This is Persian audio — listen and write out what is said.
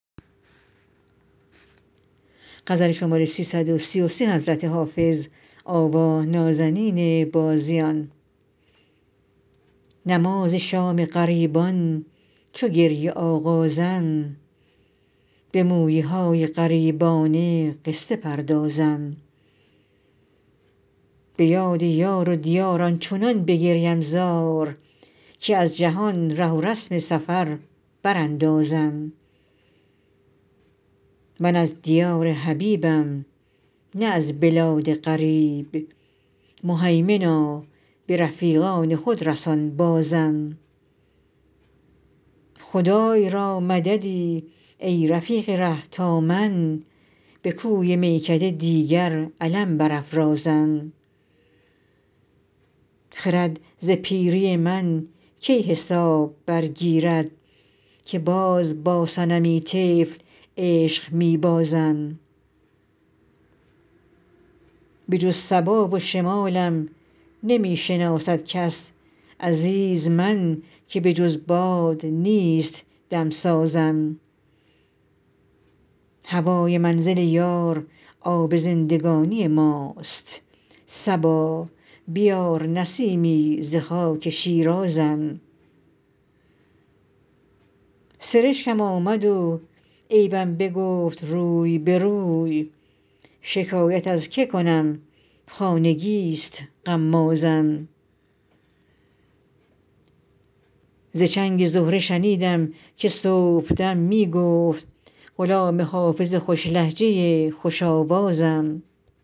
نماز شام غریبان چو گریه آغازم به مویه های غریبانه قصه پردازم به یاد یار و دیار آنچنان بگریم زار که از جهان ره و رسم سفر براندازم من از دیار حبیبم نه از بلاد غریب مهیمنا به رفیقان خود رسان بازم خدای را مددی ای رفیق ره تا من به کوی میکده دیگر علم برافرازم خرد ز پیری من کی حساب برگیرد که باز با صنمی طفل عشق می بازم بجز صبا و شمالم نمی شناسد کس عزیز من که بجز باد نیست دم سازم هوای منزل یار آب زندگانی ماست صبا بیار نسیمی ز خاک شیرازم سرشکم آمد و عیبم بگفت روی به روی شکایت از که کنم خانگی ست غمازم ز چنگ زهره شنیدم که صبح دم می گفت غلام حافظ خوش لهجه خوش آوازم